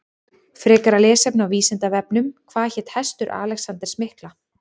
Frekara lesefni á Vísindavefnum Hvað hét hestur Alexanders mikla?